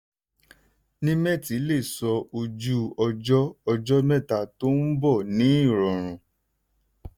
nimet lè sọ ojú-ọjọ́ ọjọ́ mẹ́ta tó nbọ̀ ní rọrùn.